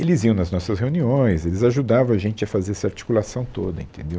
Eles iam nas nossas reuniões, eles ajudavam a gente a fazer essa articulação toda. Entendeu